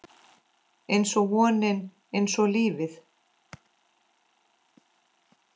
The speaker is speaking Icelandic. Einsog vonin, einsog lífið